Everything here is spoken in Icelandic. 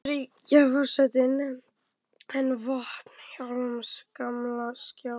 Bandaríkjaforseta en vopn Vilhjálms gamla skálds.